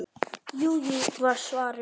Jú, jú var svarið.